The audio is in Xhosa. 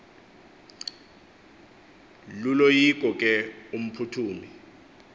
luloyiko ke umphuthumi